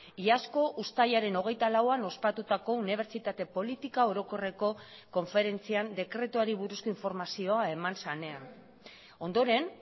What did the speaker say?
iazko uztailaren hogeita lauan ospatutako unibertsitate politika orokorreko konferentzian dekretuari buruzko informazioa eman zenean ondoren